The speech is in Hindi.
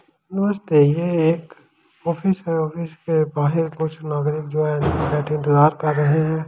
नमस्ते ये एक ऑफिस है ऑफिस के बाहेर कुछ नागरिक जो है बेठे इंतजार कर रहे है।